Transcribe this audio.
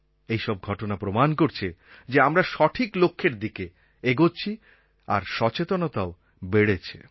এই সব ঘটনা প্রমাণ করছে যে আমরা সঠিক লক্ষ্যের দিকে এগোচ্ছি আর সচেতনতাও বেড়েছে